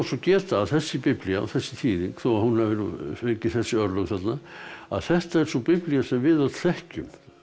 geta að þessi biblía og þessi þýðing þó að hún hafi fengi þessi örlög þarna þetta er sú biblía sem við öll þekkjum